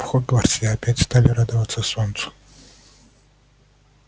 в хогвартсе опять стали радоваться солнцу